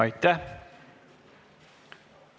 Aitäh!